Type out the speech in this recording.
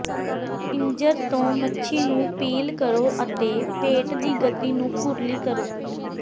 ਪਿੰਜਰ ਤੋਂ ਮੱਛੀ ਨੂੰ ਪੀਲ ਕਰੋ ਅਤੇ ਪੇਟ ਦੀ ਗਤੀ ਨੂੰ ਕੁਰਲੀ ਕਰੋ